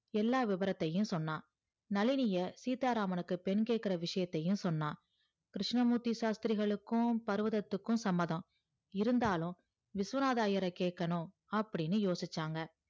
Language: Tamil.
எல்லாம் வெவரத்தையும் சொன்னான் நளினியே சீத்தாராமானுக்கு பெண் கேக்கற விஷயத்தையும் சொன்னா கிருஸ்னமூர்த்தி சாஸ்த்திரிகலுக்கும் பருவதத்துக்கும் சம்மதம் இருந்தாலும் விஸ்வநாதர் ஐயர் கேக்கணும்